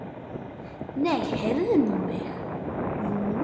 Nei, heyrðu mig nú!